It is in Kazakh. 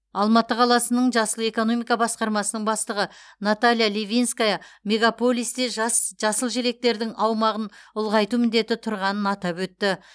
алматы қаласының жасыл экономика басқармасының бастығы наталья ливинская мегаполисте жас жасыл желектердің аумағын ұлғайту міндеті тұрғанын атап өтті